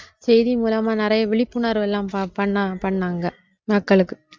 செய்தி மூலமா நிறைய விழிப்புணர்வெல்லாம் பண்ணா பண்ணாங்க மக்களுக்கு